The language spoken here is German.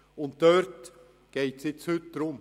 » Darum geht es heute.